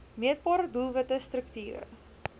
meetbare doelwitte strukture